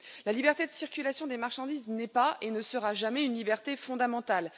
La liberté de circulation des marchandises n'est pas, et ne sera jamais, une liberté fondamentale